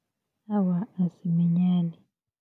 Awa, asiminyani.